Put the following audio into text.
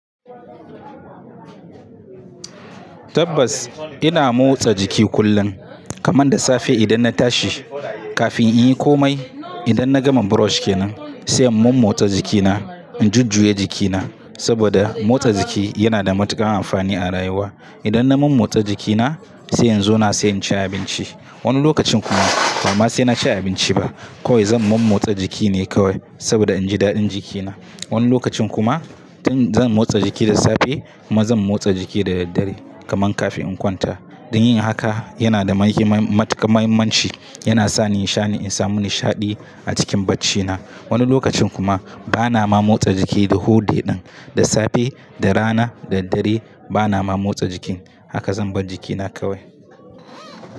Tabbas ina motsa jiki kullum kaman da safe idan na tashi kafin in yi komai. Idan na gama brush kenan sai in mommotsa jikina, in jujjuya jikina saboda motsa jiki yana da matuƙar amfani a rayuwa. Idan na mommotsa jikina sai in zauna sai in ci abinci. Wani lokacin kuma ba ma sai na ci abinci ba kawai zan mommotsa jiki ne kawai saboda in ji daɗin jikina. Wani lokacin kuma tin zan motsa jiki da safe kuma zan motsa jiki da daddare kaman kafin in kwanta. Don yin haka yana da matuƙar muhimmanci, yana sani nishaɗi na samu nishaɗi a cikin baccina. Wani lokacin kuma bana ma motsa jiki the whole day ɗin, da safe, da rana, da daddare bana ma motsa jiki. Haka zan bar jikina kawai.